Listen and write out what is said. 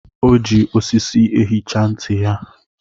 O ji osisi ehicha ntị ya.